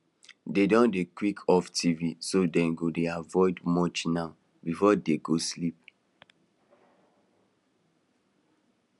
dey don dey quick off television so dem go dey avoid much now before dey go sleep